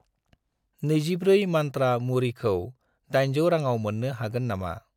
24 मन्त्रा मुरिखौ 800 राङाव मोन्नो हागोन नामा?